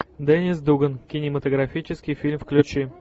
деннис дуган кинематографический фильм включи